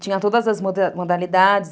Tinha todas as modalidades.